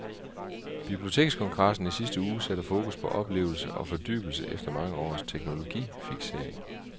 Bibliotekskongressen i sidste uge satte fokus på oplevelse og fordybelse efter mange års teknologifiksering.